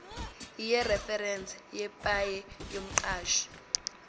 yereferense yepaye yomqashi